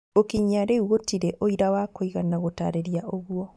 Gũkinyia rĩu gũtĩrĩ ũira wa kũigana gũtarĩria ũguo.